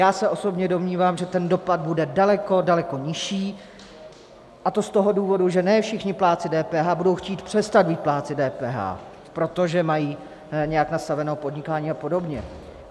Já se osobně domnívám, že ten dopad bude daleko, daleko nižší, a to z toho důvodu, že ne všichni plátci DPH budou chtít přestat být plátci DPH, protože mají nějak nastaveno podnikání a podobně.